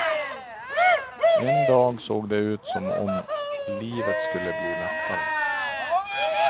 En dag såg det ut som om livet skulle bli lättare.